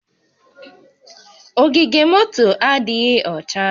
Ogige moto a adịghị ọcha